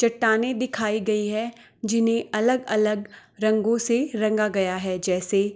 चट्टानें दिखाई गयी है जिन्हे अलग-अलग रंगो से रंगा गया है जैसे।